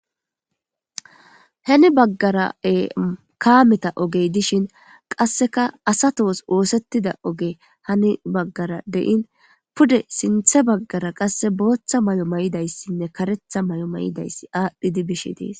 heni baggarae kaameta ogey dishin qasseka asatoos woosettida oge hani baggara dein pude sinthe baggara qasse booththa may7o may7idayssinne karetha may7o may7idayssi aadhdhidi bishe dees